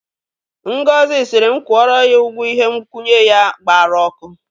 Ngozi sịrịm kwụọrọ ya ụgwọ ihe nkwụnye ya gbara ọkụ.